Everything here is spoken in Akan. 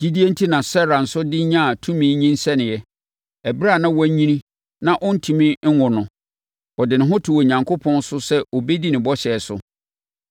Gyidie enti na Sara nso de nyaa tumi nyinsɛnee, ɛberɛ a na wanyini na ɔntumi nwo no. Ɔde ne ho too Onyankopɔn so sɛ ɔbɛdi ne bɔhyɛ so.